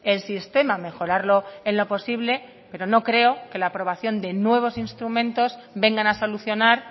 el sistema mejorarlo en lo posible pero no creo que la aprobación de nuevos instrumentos vengan a solucionar